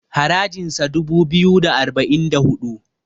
harajinsa dubu biyu da arba'in da hudu